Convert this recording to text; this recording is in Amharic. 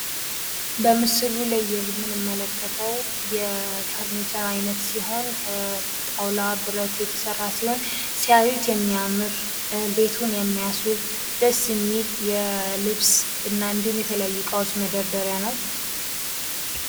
በምስሉ ላይ የምንመለከተው የፈርኒቸር አይነት ሲሆን ከብረት የተሰራ ሲሆን ሲያዩት የሚያምር ቤትን የምያስውብ ደስ የሚል የልብስ እና እንዲሁም የተለያዩ እቃዎች መደርደሪያ ነው::